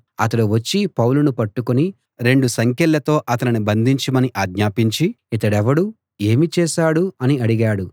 అతడు వచ్చి పౌలును పట్టుకుని రెండు సంకెళ్లతో అతనిని బంధించమని ఆజ్ఞాపించి ఇతడెవడు ఏమి చేశాడు అని అడిగాడు